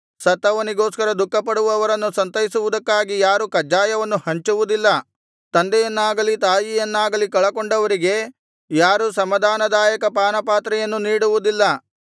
ಸತ್ತವನಿಗೋಸ್ಕರ ದುಃಖಪಡುವವರನ್ನು ಸಂತೈಸುವುದಕ್ಕಾಗಿ ಯಾರೂ ಕಜ್ಜಾಯವನ್ನು ಹಂಚುವುದಿಲ್ಲ ತಂದೆಯನ್ನಾಗಲಿ ತಾಯಿಯನ್ನಾಗಲಿ ಕಳಕೊಂಡವರಿಗೆ ಯಾರೂ ಸಮಾಧಾನದಾಯಕ ಪಾನಪಾತ್ರೆಯನ್ನು ನೀಡುವುದಿಲ್ಲ